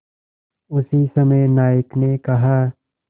उसी समय नायक ने कहा